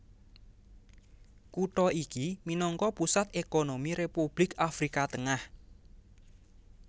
Kutha iki minangka pusat ékonomi Republik Afrika Tengah